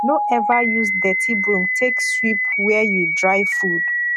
no ever use dirty broom take sweep where you dry food